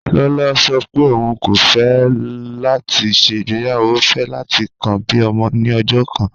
Lọlọ sọ̀ pé ọún kò fẹ̀ láti ṣẹ́ igbeyawo, ó fẹ̀ láti kàn bí ọmọ ni ọ̀jọ̀ kan